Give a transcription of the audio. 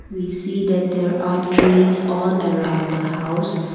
we see that there are trees are around the house.